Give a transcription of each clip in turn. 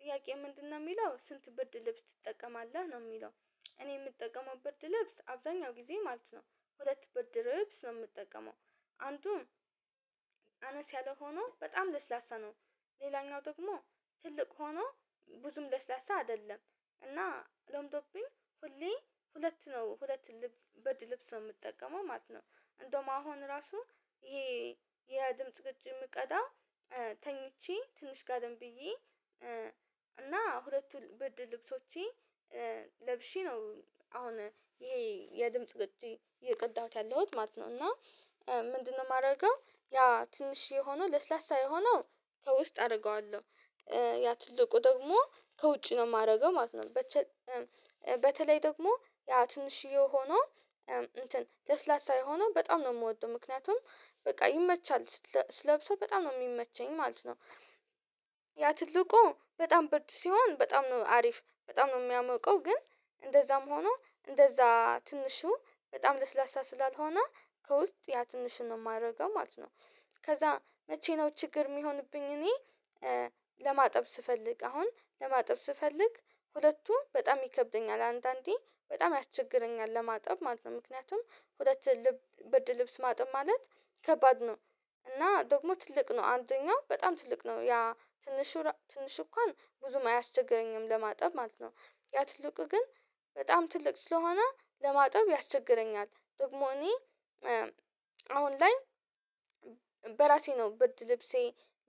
ጥያቄው ምንድነው የሚለው ስንት ብርድ ልብስ ትጠቀማለህ ነው የሚለው? እኔ የምጠቀመው ብርድ ልብስ አብዛኛው ጊዜ ማለት ነው። ሁለት ብርድ ልብስ ነው የምጠቀመው። አንዱም አነስ ያለ ሆኖ በጣም ለስላሳ ነው። ሌላኛው ደግሞ ትልቅ ሆኖ ብዙም ለስላሳ አይደለም። እና ለምዶብኝ ሁሌ ሁለት ነው ሁለት ልብስ በድ ልብስ ነው የምጠቀመው ማለት ነው። እንደውም አሁን ራሱ ይሄ የድምጽ ቅጅ የምቀዳ ተኝቼ ትንሽ ጋደም ብዬ ሁለቱን ብድር ልብሶቼ ለብሼ ነው። አሁን ይሄ የድምጽ ቅጅ እየቀዳሁት ያለሁት ማለት ነው። እና ምንድነው የማደርገው ያ ትንሽዬ ሆኖ ለስላሳ የሆነው ከውስጥ አደርገዋለሁ ያ ትልቁ ደግሞ ከውጪ ነው የማደርገው ማለት። ነው ደግሞ ያ ትንሽዬ ሆኖ እንትን ለስላሳ ሆኖ በጣም ነው የምወደው ምክንያቱም በቃ ይመቻል ስለብሰው በጣም ነው የሚመቸኝ ማለት ነው። ያ ትልቁ በጣም ብርድ ሲሆን በጣም ነው አሪፍ በጣም ነው የሚያሞቀው ግን እንደዛም ሆኖ እንደዛ ትንሹ በጣም ለስላሳ ስላልሆነ ከውስጥ ያ ትንሹን ነው የማደርገው ማለት ነው። ከዛ መቼ ነው ችግር የሚሆንብኝ እኔ ለማጠብ ስፈልግ አሁን ለማጠብ ስፈልግ ሁለቱም በጣም ይከብደኛል አንዳንዴ በጣም ያስቸግረኛል ለማጠብ ማለት ነው። ምክንያቱም ሁለት ልብ ብርድ ልብስ ማጠብ ማለት ከባድ ነው። እና ደግሞ ትልቅ ነው አንደኛው በጣም ትልቅ ነው ያ ትንሽ ትንሽ እንኳን ብዙም አያስቸግረኝም ለማጠብ ማለት ነው። ያ ትልቁ ግን በጣም ትልቅ ስለሆነ ለማጠብ ያስቸግረኛል ጥቅሙ እኔ አሁን ላይ በራሴ ነው ብርድ ልብሴ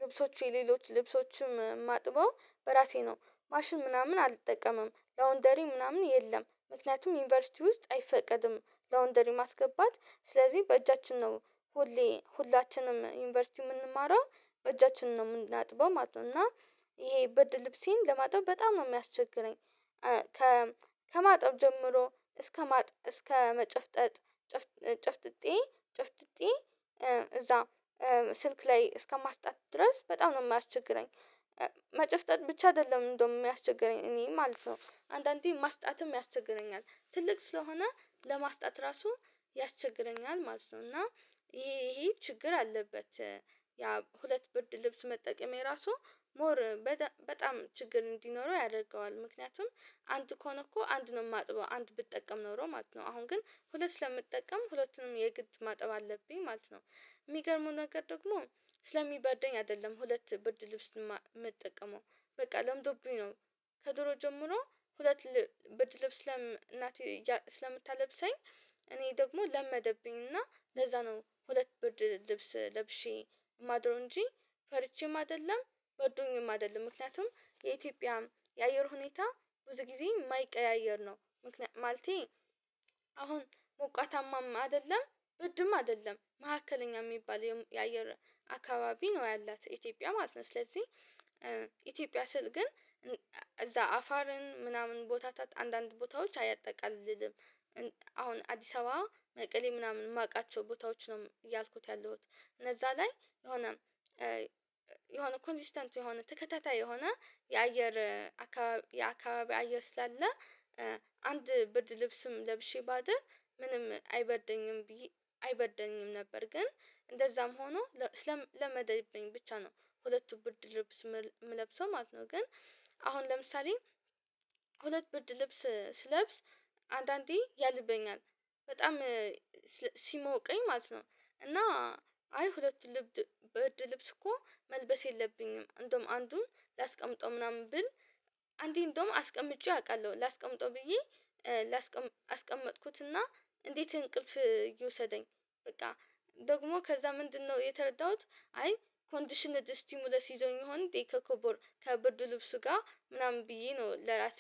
ልብሶች የሌሎች ልብሶችም ማጥበው በራሴ ነው። ማሽን ምናምን አልጠቀምም ላውንደሪ ምናምን የለም ምክንያቱም ዩኒቨርሲቲ ውስጥ አይፈቀድም። ላውንደሪ ማስገባት ስለዚህ በእጃችን ነው ሁሌ ሁላችንም ዩኒቨርሲቲ የምንማረው እጃችንን ነው የምናጥበው ማለት እና ይሄ ብርድ ልብሴን ለማጠብ በጣም ነው የሚያስቸግረኝ። ከማጠብ ጀምሮ እስከ እስከ መጨፍጠጥ ጨፍጥጤ ጨፍጥጤ እዛ ስልክ ላይ እስከማስጣት ድረስ በጣም ነው የማያስቸግረኝ። መጨፍጠጥ ብቻ አይደለም እንደውም የሚያስቸግረኝ እኔ ማለት ነው አንዳንዴ ማስጣትም ያስቸግረኛል ትልቅ ስለሆነ ለማስጣት ራሱ ያስቸግረኛል ማለት ነው። እና ይሄ ይሄ ችግር አለበት። ያ ሁለት ብርድ ልብስ መጠቀሜ እራሱ ሞር በጣም ችግር እንዲኖረው ያደርገዋል ምክንያቱም አንድ ከሆነ እኮ አንድ ነው የማጥበው አንድ ብትጠቀም ኖሮ ማጥበው አሁን ግን ሁለት ስለመጠቀም ሁለቱንም የግድ ማጠብ አለብኝ ማለት ነው። የሚገርመው ነገር ደግሞ ስለሚበርደኝ አይደለም ሁለት ብርድ ልብስ የምትጠቀመው በቃ ለምዶብኝ ነው። ከድሮ ጀምሮ ሁለት ብርድ ልብስ ለም እናቴ ስለምታለብሰኝ እኔ ደግሞ ለመደብኝ እና ለዛ ነው ሁለት ብርድ ልብስ ለብሼ ማድረው እንጂ ፈርቼም አይደለም በርዶኝም አይደለም ምክንያቱም የኢትዮጵያ የአየር ሁኔታ ብዙ ጊዜ የማይቀያየር ነው። ማለቴ አሁን ሞቃታማም አይደለም ብድም አይደለም መካከለኛ የሚባል የአየር አካባቢ ነው ያላት ኢትዮጵያ ማለት ነው። ስለዚህ ኢትዮጵያ ስል ግን እዛ አፋርን ምናምን ቦታ አንዳንድ ቦታዎች አያጠቃልልም። አሁን አዲስ አበባ መቀሌ ምናምን የማውቃቸው ቦታዎች ነው እያልኩት ያለሁት እነዛ ላይ የሆነ የሆነ ኮንሲስተንት የሆነ ተከታታይ የሆነ የአየር አካባቢ የአካባቢ አየር ስላለ አንድ ብርድ ልብስም ለብሼ ባደር ምንም አይበርደኝም። አይበርደኝም ነበር ግን እንደዛም ሆኖ ለመደብኝ ብቻ ነው ሁለቱ ብርድ ልብስ የምለብሰው ማለት ነው። ግን አሁን ለምሳሌ ሁለት ብርድ ልብስ ስለብስ አንዳንዴ ያልበኛል በጣም ሲሞቀኝ ማለት ነው። እና አይ ሁለት ብርድ ልብስ እኮ መልበስ የለብኝም እንደውም አንዱን ላስቀምጠው ምናምን ብል አንዴ እንደውም አስቀምጬው አውቃለሁ ላስቀምጠው ብዬ ላስቀም አስቀመጥኩትና እንዴት እንቅልፍ ይውሰደኝ? በቃ ደግሞ ከዛ ምንድነው የተረዳሁት አይ ኮንዲሽነር ስቲሙለስ ይዞኝ የሆነ ዴክ ከብርድ ልብሱ ጋር ምናምን ብዬ ነው ለራሴ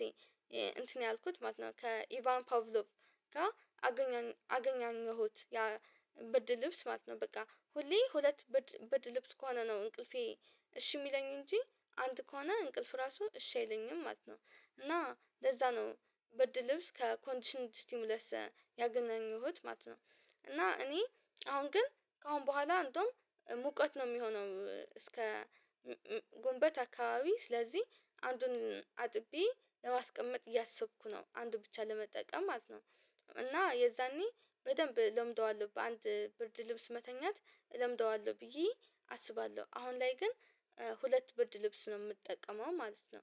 እንትን ያልኩት ማለት ነው። ከኢቫን ፓቭሎቭ ጋር አገኘነው አገናኘሁት ያ ብድር ልብስ ማለት ነው በቃ ሁሌ ሁለት ብርድ ልብስ ከሆነ ነው እንቅልፌ እሺ የሚለኝ እንጂ አንድ ከሆነ እንቅልፍ ራሱ እሺ አይለኝም ማለት ነው። እና ለዛ ነው ብርድ ልብስ ከኮንዲሽን ስቲሙለስ ያገኘሁት ማለት ነው። እና እኔ አሁን ግን ከአሁን በኋላ እንደውም ሙቀት ነው የሚሆነው እስከ ግንቦት አካባቢ ስለዚህ አንዱን አጥቤ ለማስቀመጥ እያሰብኩ ነው አንዱ ብቻ ለመጠቀም አት ነው። እና የዛኔ በደንብ እለምደዋለሁ በአንድ ብርድ ልብስ መተኛት እለምደዋለሁ ብዬ አስባለሁ አሁን ላይ ግን ሁለት ብርድ ልብስ ነው የምጠቀመው ማለት ነው